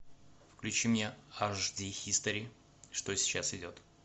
включи мне аш ди хистори что сейчас идет